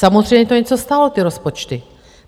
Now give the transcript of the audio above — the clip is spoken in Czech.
Samozřejmě to něco stálo, ty rozpočty.